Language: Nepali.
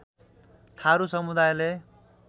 थारू समुदायले